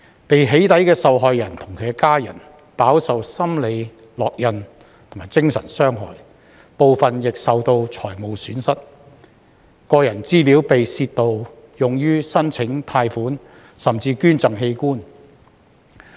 被"起底"的受害人及其家人，飽受心理烙印及精神傷害，部分亦受到財務損失，個人資料被盜竊用於申請貸款，甚至捐贈器官。